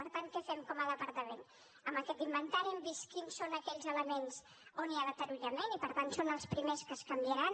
per tant què fem com a departament amb aquest inventari hem vist quins són aquells elements on hi ha deteriorament i per tant són els primers que es canviaran